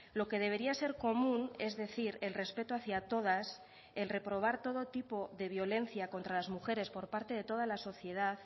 lo que debería ser común es decir el respeto hacia todas el reprobar todo tipo de violencia contra las mujeres por parte de toda la sociedad